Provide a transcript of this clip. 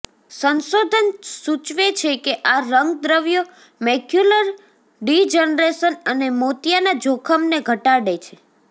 સંશોધન સૂચવે છે કે આ રંગદ્રવ્યો મૈક્યુલર ડિજનરેશન અને મોતિયાના જોખમને ઘટાડે છે